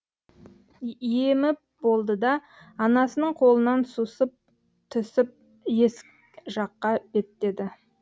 еміп болды да анасының қолынан сусып түсіп есік жаққа беттеді